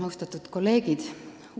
Austatud kolleegid!